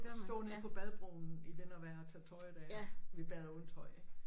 Stå nede på badebroen i vind og vejr og tage tøjet af vi bader uden tøj ik